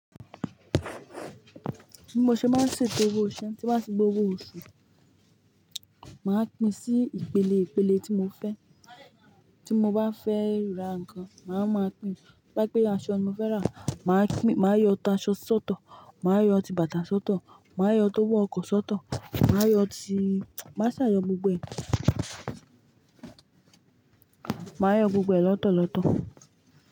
Bí mo ṣe máa ń ṣètò owó iṣẹ́ ti ba ti gba ówó oṣù, màá pín sí ìpele ìpele tí mo fẹ́. Tí mo bá fẹ́ rà nǹkan, màá máa pín. Ba pe aṣọ nimo fẹ́ rà, màá pin- màá yọ aṣọ sọ́tọ, màá yọ ti bàtà sọ́tọ, màá yọ tó wọ ọkọ̀ sọ́tọ, màá yọ tí Màá ṣà yọ gbogbo ẹ̀. Màá yọ gbogbo ẹ̀ lọ́tọ̀ọ̀tọ̀